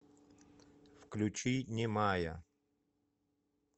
включи немая